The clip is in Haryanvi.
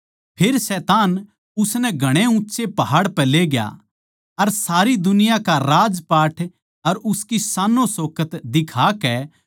फेर शैतान उसनै घणे ऊँच्चे पहाड़ पै लेग्या अर सारी दुनिया का राजपाट अर उसकी शानोंशोकत दिखाकै